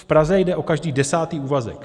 V Praze jde o každý desátý úvazek.